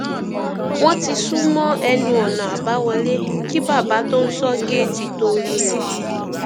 wọn ti sún mọ ẹnu ọnà àbáwọlé kí bàbá tó ń sọ géètì tóo rí wọn